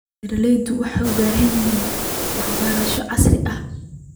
Beeraleydu waxay u baahan yihiin waxbarasho casri ah.